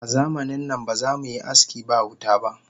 Azamanin nan ba zamuyi aski ba wuta ba